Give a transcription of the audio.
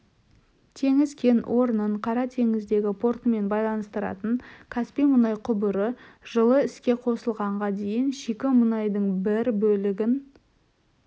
теңіз кен орнын қара теңіздегі портымен байланыстыратын каспий мұнай құбыры жылы іске қосылғанға дейін шикі мұнайдың бір бөлігін